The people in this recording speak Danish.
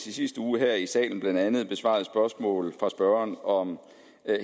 i sidste uge her i salen blandt andet besvarede spørgsmål fra spørgeren om